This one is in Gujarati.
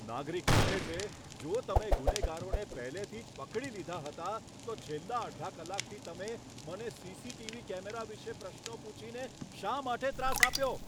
નાગરિક પૂછે છે, જો તમે ગુનેગારોને પહેલેથી જ પકડી લીધા હતા, તો છેલ્લા અડધા કલાકથી તમે મને સીસીટીવી કેમેરા વિશે પ્રશ્નો પૂછીને શા માટે ત્રાસ આપ્યો?